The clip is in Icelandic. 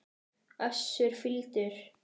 Össur fýldur.